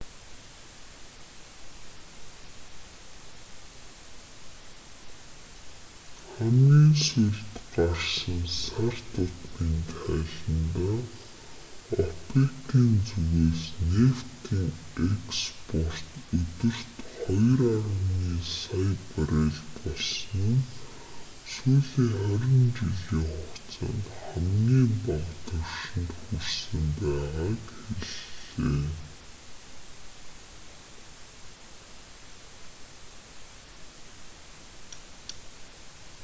хамгийн сүүлд гарсан сар тутмын тайландаа опек-ийн зүгээс нефтийн экспорт өдөрт 2,8 сая баррел болсон нь сүүлийн хорин жилийн хугацаанд хамгийн бага түвшинд хүрсэн байгааг хэллээ